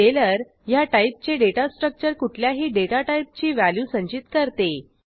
scalar ह्या टाईपचे data structure कुठल्याही डेटा टाईपची व्हॅल्यू संचित करते